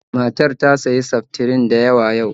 Matar ta siya seftrin da yawa yau